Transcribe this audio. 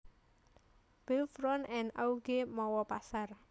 Beuvron en Auge mawa pasar